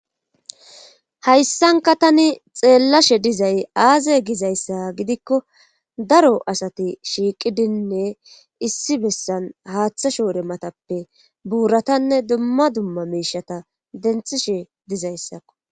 hayssanka tani xeellashe dizay aaze gizayssa gidikko daro asati shiiqidinne issi bessan haaththa shoore matappe buuratanne dumma dumma miishata denthishe dizayssakko